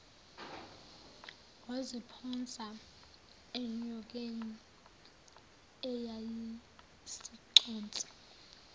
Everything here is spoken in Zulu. waziphonsa enyokeni eyayisiconsa